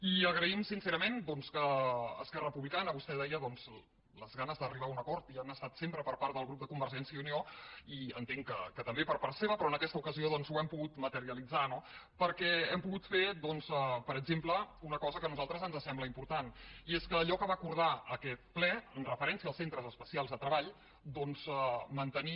i agraïm sincerament doncs que esquerra republicana vostè ho deia les ganes d’arribar a un acord hi han estat sempre per part del grup de convergència i unió i entenc que també per part seva però en aquesta ocasió doncs ho hem pogut materialitzar no perquè hem pogut fer doncs per exemple una cosa que a nosaltres ens sembla important i és que allò que va acordar aquest ple en referència als centres especials de treball doncs mantenir